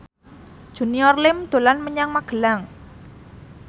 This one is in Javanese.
Junior Liem dolan menyang Magelang